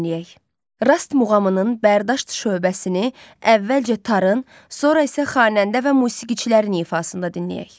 Rast muğamının Bərdüşt şöbəsini əvvəlcə tarın, sonra isə xanəndə və musiqiçilərin ifasında dinləyək.